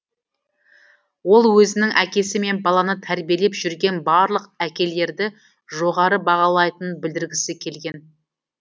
ол өзінің әкесі мен баланы тәрбиелеп жүрген барлық әкелерді жоғары бағалайтынын білдіргісі келген